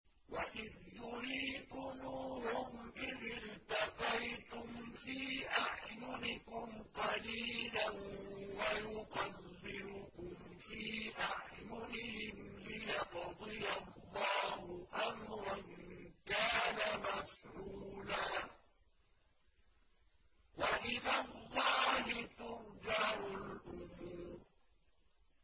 وَإِذْ يُرِيكُمُوهُمْ إِذِ الْتَقَيْتُمْ فِي أَعْيُنِكُمْ قَلِيلًا وَيُقَلِّلُكُمْ فِي أَعْيُنِهِمْ لِيَقْضِيَ اللَّهُ أَمْرًا كَانَ مَفْعُولًا ۗ وَإِلَى اللَّهِ تُرْجَعُ الْأُمُورُ